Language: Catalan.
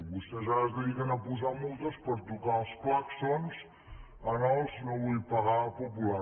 vostès ara es dediquen a posar multes per tocar els clàxons en els no vull pagar populars